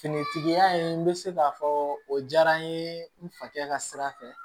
Finitigiya in n bɛ se k'a fɔ o diyara n ye n fa kɛ ka sira fɛ